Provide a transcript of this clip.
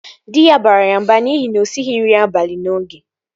Dị ya bara ya mba n'ihi na osighi nri abalị n'oge